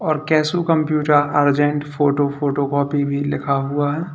और Keshu computer urgent photo photocopy भी लिखा हुआ है।